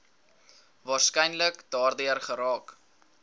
waarskynlik daardeur geraak